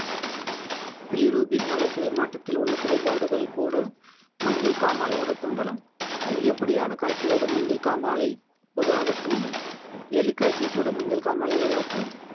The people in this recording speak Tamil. பிலிரூப்பின் வளர்ச்சி மாற்றத்தில் உள்ள குறைபாடுகள் கூட மஞ்சள் காமாலையாக தோன்றலாம் அதிகப்படியான காய்ச்சலோடு மஞ்சள் காமாலை பொதுவாக தோன்றும் எலிக்காய்ச்சல் கூட மஞ்சள் காமாலை உருவாக்கலாம்